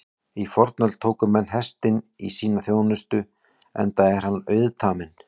Í fornöld tóku menn hestinn í sína þjónustu enda er hann auðtaminn.